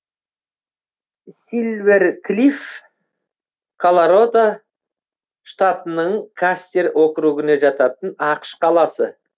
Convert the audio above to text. сильвер клифф калородо штатының кастер округіне жататын ақш қаласы